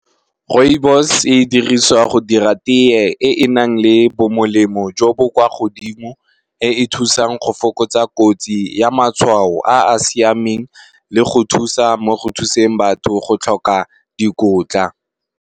Rooibos e dirisiwa go dira teye e e nang le bo molemo jo bo kwa godimo, e e thusang go fokotsa kotsi ya matshwao a a siameng le go thusa mo go thuseng batho go tlhoka dikotla.